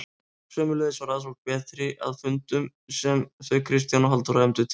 Sömuleiðis var aðsókn betri að fundum sem þau Kristján og Halldóra efndu til.